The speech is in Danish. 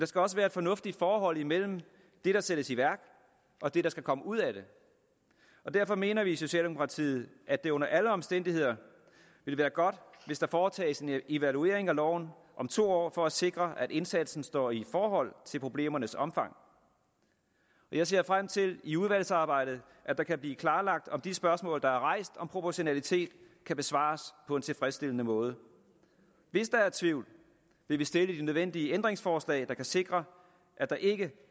skal også være et fornuftigt forhold mellem det der sættes i værk og det der skal komme ud af det derfor mener vi i socialdemokratiet at det under alle omstændigheder vil være godt hvis der foretages en evaluering af loven om to år for at sikre at indsatsen står i forhold til problemernes omfang jeg ser frem til i udvalgsarbejdet at det kan blive klarlagt om de spørgsmål der er rejst om proportionalitet kan besvares på en tilfredsstillende måde hvis der er tvivl vil vi stille de nødvendige ændringsforslag der kan sikre at der ikke